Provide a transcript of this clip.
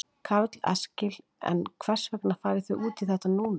Karl Eskil: En hvers vegna farið þið út í þetta núna?